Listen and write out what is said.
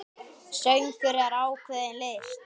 Söngur er ákveðin list.